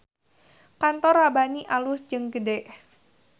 Kantor Rabbani alus jeung gede